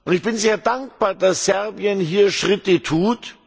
Ich bin sehr dankbar, dass Serbien hier Schritte tut.